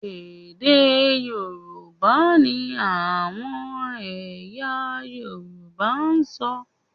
Èdè Yorùbá ni àwọn ẹ̀yà Yorùbá ń ṣọ